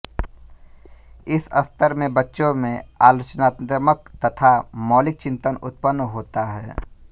इस स्तर में बच्चों में आलोचनात्मक तथा मौलिक चिंतन उत्पन्न होता है